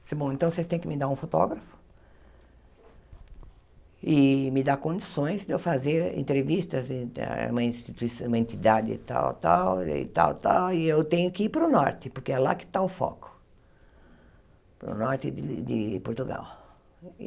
Disse, bom, então vocês têm que me dar um fotógrafo e me dar condições de eu fazer entrevistas em uma institui uma entidade tal tal e tal tal, e eu tenho que ir para o norte, porque é lá que está o foco, para o norte de de Portugal.